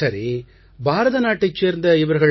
சரி பாரதநாட்டைச் சேர்ந்த இவர்கள்